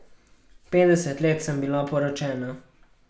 Petdeset let sem bila poročena.